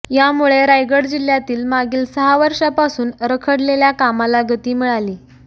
यामुळे रायगड जिह्यातील मागील सहा वर्षांपासून रखडलेल्या कामाला गती मिळाली